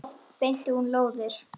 Oft beitti hún lóðir.